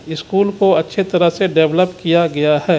School को अच्छे तरह से डेवलप किया गया हे.